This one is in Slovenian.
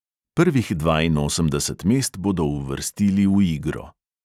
Prvih dvainosemdeset mest bodo uvrstili v igro.